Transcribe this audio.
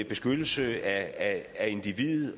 beskyttelse af af individet